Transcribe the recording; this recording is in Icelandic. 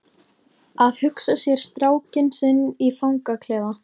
Að hugsa sér strákinn sinn í fangaklefa?